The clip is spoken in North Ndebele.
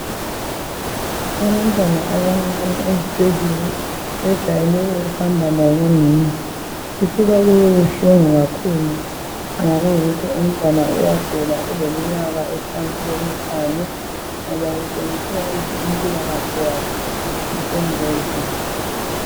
Abantwana abancane ezibhedlela bejayele ukuhamba labonhina kusuka kubebuhlungu kakhulu nxa kuyikuthi umtwana uyagula eleminyaka ephansi kwemihlanu ngoba kutshengisela ukuthi impila kahle yakhe isengozini